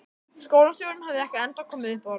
Skólastjórinn hafði ekki ennþá komið upp orði.